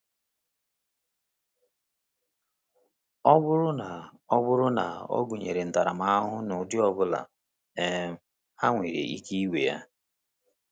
Ọ bụrụ na ọ bụrụ na ọ gụnyere ntaramahụhụ n’ụdị ọ bụla, um ha nwere ike iwe ya.